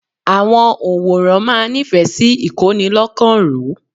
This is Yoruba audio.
Àwọn ọ̀ǹwòran máa nífẹ̀ẹ́ sí ìkónilọ́kan-ró.